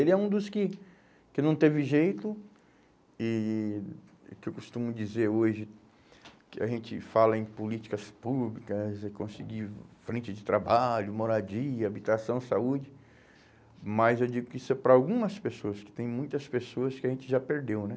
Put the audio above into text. Ele é um dos que que não teve jeito e que eu costumo dizer hoje que a gente fala em políticas públicas, é conseguir frente de trabalho, moradia, habitação, saúde, mas eu digo que isso é para algumas pessoas, que tem muitas pessoas que a gente já perdeu, né?